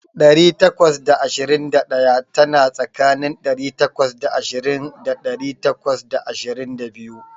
Ɗari takwas da ashirin da ɗaya tana tsakanin ɗari takwas da ashirin da ɗari takwas da ashirin da biyu.